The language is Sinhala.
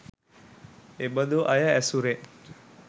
එබදු අය ඇසුරෙන්